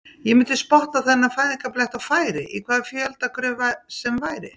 Ég myndi spotta þennan fæðingarblett á færi, í hvaða fjöldagröf sem væri.